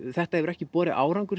þetta hefur ekki borið árangur